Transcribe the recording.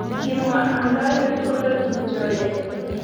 Kimwaa amdoindet kole tupchoyiek.